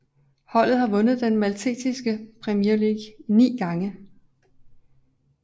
Holdet har vundet den maltesiske Premier League ni gange